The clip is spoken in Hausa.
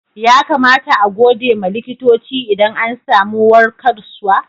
Ya kamata a gode ma likitoci idan an samu warkaswa?